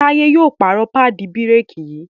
Taye yíò pààrọ̀ paadi bírékì yí